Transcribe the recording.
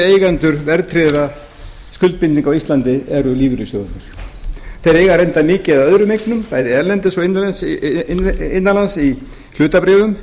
eigendur verðtryggðra skuldbindinga á íslandi eru lífeyrissjóðirnir þeir eiga reyndar mikið af öðrum eignum bæði erlendis og innan lands í hlutabréfum